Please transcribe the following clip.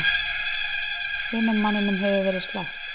Hinum manninum hefur verið sleppt